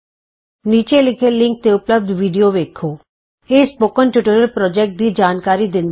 ਨੀਚੇ ਦਿੱਤੇ ਲਿੰਕ ਤੇ ਉਪਲਭਦ ਵੀਡੀਓ ਵੇਖੋ httpspoken tutorialorgWhat is a Spoken Tutorial ਇਹ ਸਪੋਕਨ ਟਿਯੂਟੋਰਿਅਲ ਪੋ੍ਰਜੈਕਟ ਦੀ ਜਾਣਕਾਰੀ ਦਿੰਦਾ ਹੈ